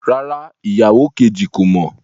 Rárá, ìyàwó kejì kò mọ̀